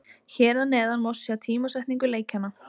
Hér að neðan má sjá tímasetningu leikjanna.